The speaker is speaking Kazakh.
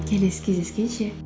келесі кездескенше